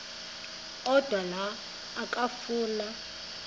odwa la okafuna